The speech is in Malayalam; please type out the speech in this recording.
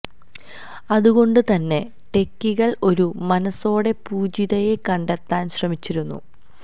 അതുകൊണ്ട് തന്നെ ടെക്കികൾ ഒരു മനസ്സോടെ പൂജിതയെ കണ്ടെത്താൻ ശ്രമിച്ചിരുന്നു